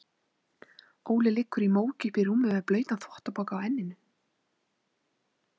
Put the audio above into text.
Óli liggur í móki uppí rúmi með blautan þvottapoka á enninu.